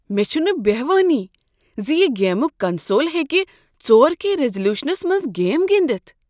مےٚ چھنہٕ بہوانٕے ز یہ گیمنٛگ کنسول ہیٚکہ ژور کے ریزولیوشنس منٛز گیم گندتھ